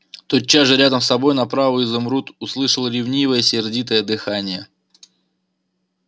тотчас же рядом с собою направо изумруд услышал ревнивое сердитое дыхание